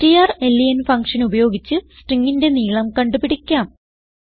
strlen function ഉപയോഗിച്ച് stringന്റെ നീളം കണ്ടുപിടിക്കാം